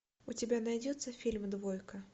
у тебя найдется фильм двойка